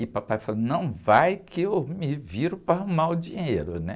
E papai falou, não vai que eu me viro para arrumar o dinheiro, né?